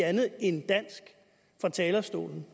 andet end dansk fra talerstolen